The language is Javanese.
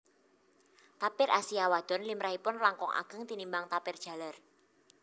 Tapir Asia wadon limrahipun langkung ageng tinimbang tapir jaler